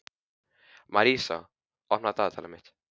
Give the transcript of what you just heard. Marísa, opnaðu dagatalið mitt.